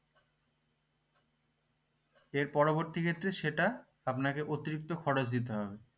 এর পরবর্তী ক্ষেত্রে সেটা আপনাকে অতিরিক্ত খরচ দিতে হবে